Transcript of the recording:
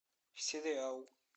сериал